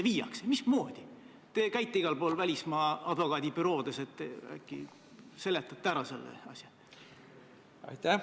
Majanduskomisjoni istungil saime teada, et kaasatud olid ka ministeeriumid, valitsussektor, sh Sotsiaalministeerium, kes ilma märkusteta eelnõu kooskõlastas.